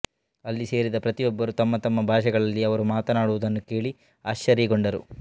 ಅಲ್ಲಿ ಸೇರಿದ್ದ ಪ್ರತಿಯೊಬ್ಬರು ತಮ್ಮ ತಮ್ಮ ಭಾಷೆಗಳಲ್ಲಿ ಅವರು ಮಾತಾಡುವುದನ್ನು ಕೇಳಿ ಆಶ್ಚರ್ಯಗೊಂಡರು